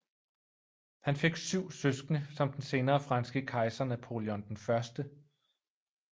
Han fik syv søskende som den senere franske kejser Napoleon 1